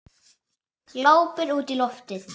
Glápir útí loftið.